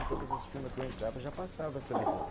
Em todas as firma que eu entrava, já passava essa visão.